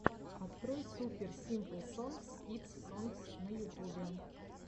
открой супер симпл сонгс кидс сонгс на ютубе